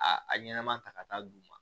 A a ɲɛnɛma ta ka taa d'u ma